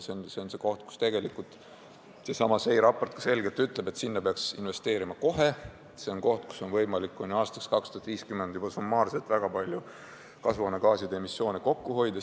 See on see koht, kus tegelikult seesama SEI raport ka selgelt ütleb, et sinna peaks investeerima kohe, sealt on võimalik kuni aastaks 2050 juba summaarselt väga palju kasvuhoonegaaside emissiooni kokku hoida.